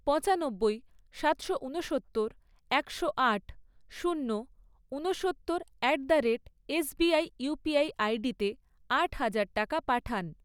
পঁচানব্বই, সাতশো ঊনসত্তর, একশো আট, শূন্য, ঊনসত্তর at the rate SBI UPI আইডিতে আট হাজার টাকা পাঠান।